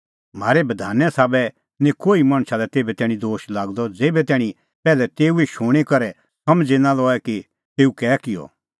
म्हारै बधाने साबै निं कोही मणछा लै तेभै तैणीं दोश लागदअ ज़ेभै तैणीं पैहलै तेऊए शूणीं करै समझ़ी नां लए कि तेऊ कै किअ